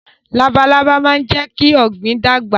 Labalábá máa ń jẹ́ kí ọ̀gbìn dàgbà